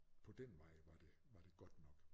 På den vej var det godt nok